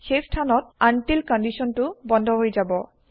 সেই স্থানত আনতিল্ কন্দিছন টো বন্ধ হৈ যাব